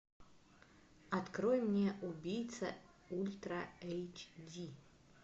открой мне убийца ультра эйч ди